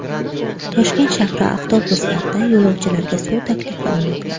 Toshkent shahri avtobuslarida yo‘lovchilarga suv taklif qilinmoqda.